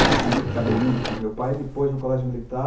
Aquele cabelinho que meu pai me pôs no colégio militar.